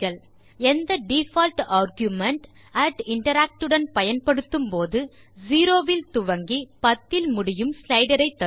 எந்த default argument interact உடன் பயன்படுத்தும் போது 0 இல் துவங்கி 10 இல் முடியும் ஸ்லைடர் ஐ தரும்